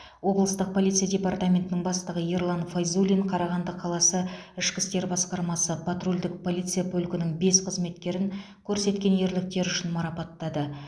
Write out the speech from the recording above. облыстық полиция департаментінің бастығы ерлан файзуллин қарағанды қаласы ішкі істер басқармасы патрульдік полиция полкінің бес қызметкерін көрсеткен ерліктері үшін марапаттады